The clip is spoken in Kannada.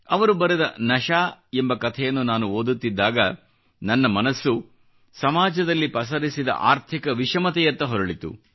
ಅವರು ಬರೆದ ನಶಾ ಎಂಬ ಕಥೆಯನ್ನು ನಾನು ಓದುತ್ತಿದ್ದಾಗ ನನ್ನ ಮನಸ್ಸು ಸಮಾಜದಲ್ಲಿ ಪಸರಿಸಿದ ಆರ್ಥಿಕ ವಿಷಮತೆಯತ್ತ ಹೊರಳಿತು